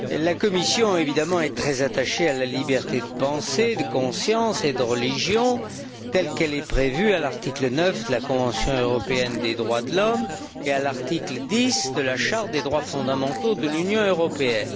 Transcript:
La Commission est très attachée à la liberté de pensée, de conscience et de religion, telle qu'elle est prévue à l'article 9 de la Convention européenne des droits de l'homme et à l'article 10 de la Charte des droits fondamentaux de l'Union européenne.